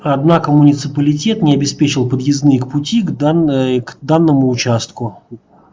однако муниципалитет не обеспечил подъездные пути к данной к данному участку участку